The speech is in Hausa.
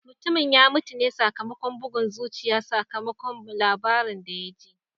Mutumin ya mutu ne sakamakon bugun zuciya sakamakon labarin da ya ji.